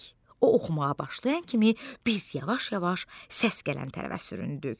O oxumağa başlayan kimi biz yavaş-yavaş səs gələn tərəfə süründük.